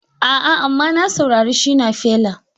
A'a, amma na saurari Shina Feller